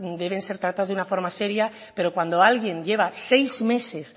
deben ser tratados de una forma seria pero cuando alguien lleva seis meses